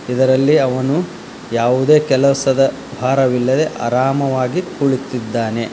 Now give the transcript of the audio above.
ಇದರಲ್ಲಿ ಅವನು ಯಾವುದೇ ಕೆಲಸದ ಭಾರವಿಲ್ಲದೆ ಆರಾಮಾಗಿ ಕುಳಿತಿದ್ದಾನೆ.